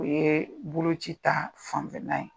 O ye bolo ci ta fanfɛnna ye.